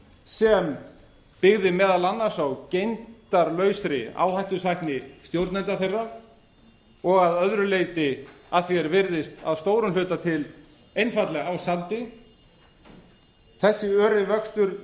sem byggði meðal annars á gegndarlausri áhættusækni stjórnenda þeirra og að öðru leyti að því er virðist að stórum hluta til einfaldlega á sandi þessi öri vöxtur leiddi